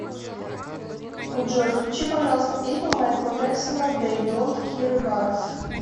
джой включи пожалуйста песню майкла джексона дей донт кире барес